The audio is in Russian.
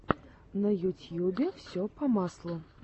на ютьюбе все по маслу